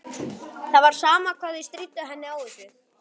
Það var sama hvað þau stríddu henni á þessu.